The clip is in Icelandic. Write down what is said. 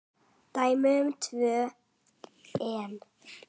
Dæmi um tvö enn